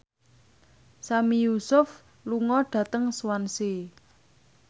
Sami Yusuf lunga dhateng Swansea